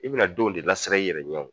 I bɛna denw de lasiran i yɛrɛ ɲɛw